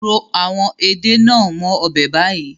Ro àwọn Ede nàá mó ọbẹ̀ bayi